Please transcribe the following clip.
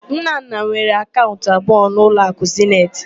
Nnanna nwere akaụnt abụọ na ụlọakụ Zeniti.